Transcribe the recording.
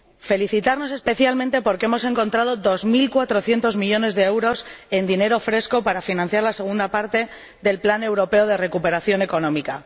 Felicitarnos, especialmente, porque hemos encontrado dos mil cuatrocientos millones de euros en dinero fresco para financiar la segunda parte del Plan Europeo de Recuperación Económica.